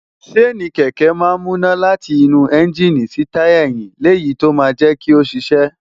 ṣéènì kẹ̀kẹ́ máa ń múná láti inú ẹ́ńgíìnì sí táyà ẹ̀yín léyìí tó máa ń jẹ́ kó ṣiṣẹ́.